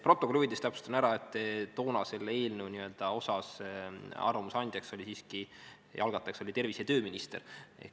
Protokolli huvides täpsustan ära, et toona selle eelnõu kohta arvamuse andjaks ja selle algatajaks oli siiski tervise- ja tööminister.